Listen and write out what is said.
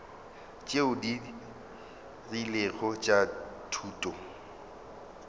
tšeo di rilego tša thuto